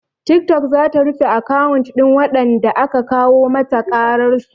Tiktok zata rufe akawun ɗin waɗanda aka kawo mata ƙararsu